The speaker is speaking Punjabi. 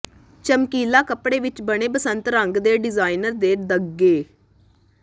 ਚਮਕੀਲਾ ਕੱਪੜੇ ਵਿਚ ਬਣੇ ਬਸੰਤ ਰੰਗ ਦੇ ਡਿਜ਼ਾਈਨਰ ਦੇ ਦੰਗੇ